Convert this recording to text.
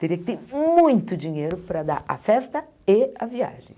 Teria que ter muito dinheiro para dar a festa e a viagem.